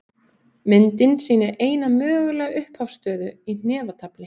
Myndin sýnir eina mögulega upphafsstöðu í hnefatafli.